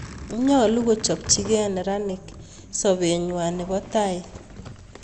Nyalu kochopchi key meranik sopeng'wai nepo taai